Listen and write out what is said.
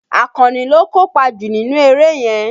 Àkànní ló kópa jù nínú eré yẹn